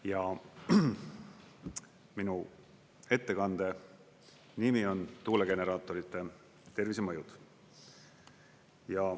Ja minu ettekande nimi on "Tuulegeneraatorite tervisemõjud".